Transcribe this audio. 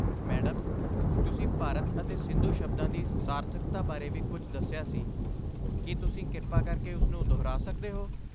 Madam, ਤੁਸੀਂ ਭਾਰਤ ਅਤੇ ਸਿੰਧੂ ਸ਼ਬਦਾਂ ਦੀ ਸਾਰਥਕਤਾ ਬਾਰੇ ਵੀ ਕੁਝ ਦੱਸਿਆ ਸੀ, ਕੀ ਤੁਸੀਂ ਕਿਰਪਾ ਕਰਕੇ ਉਸ ਨੂੰ ਦੁਹਰਾ ਸਕਦੇ ਹੋ?